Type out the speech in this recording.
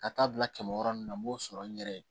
Ka taa bila kɛmɛ wɔɔrɔ nun na n b'o sɔrɔ n yɛrɛ ye